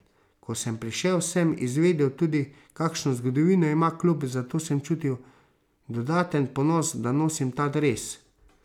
Ko sem prišel, sem izvedel tudi, kakšno zgodovino ima klub, zato sem čutil dodaten ponos, da nosim ta dres.